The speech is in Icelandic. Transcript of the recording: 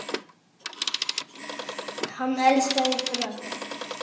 Hann elskaði ykkur öll.